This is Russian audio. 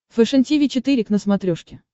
фэшен тиви четыре к на смотрешке